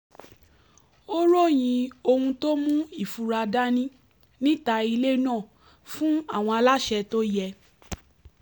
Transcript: ó ròyìn ohun tó mú ìfura dání níta ilé náà fún àwọn aláṣẹ tó yẹ